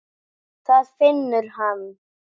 Það finnur hann.